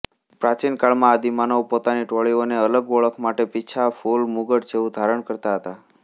પ્રાચીન કાળમાં આદિમાનવો પોતાની ટોળીઓની અલગ ઓળખ માટે પીંછા ફૂલ મુગટ જેવું ધારણ કરતા હતા